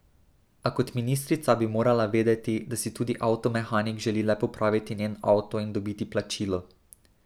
A kot ministrica bi morala vedeti, da si tudi avtomehanik želi le popraviti njen avto in dobiti plačilo.